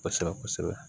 Kosɛbɛ kosɛbɛ